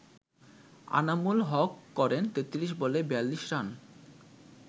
আনামুল হক করেন ৩৩ বলে ৪২ রান।